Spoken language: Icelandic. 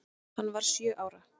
Hann var sjö ára.